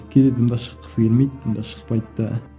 кейде дым да шыққысы келмейді дым да шықпайды да